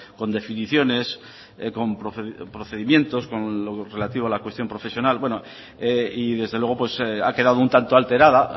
con definiciones con procedimientos con lo relativo a la cuestión profesional y desde luego ha quedado un tanto alterada